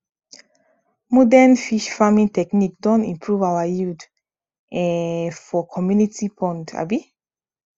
modern fish farming technique don improve our yield um for community pond um